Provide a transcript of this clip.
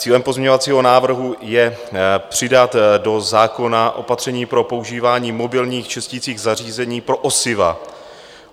Cílem pozměňovacího návrhu je přidat do zákona opatření pro používání mobilních čisticích zařízení pro osiva.